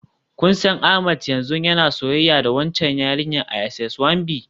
Kun san Ahmed yanzu yana soyayya da waccan yarinyar a SS One B?